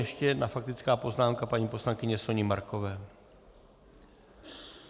Ještě jedna faktická poznámka paní poslankyně Soni Markové.